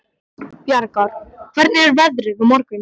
Bjargar, hvernig er veðrið á morgun?